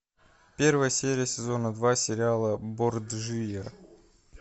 первая серия сезона два сериала борджиа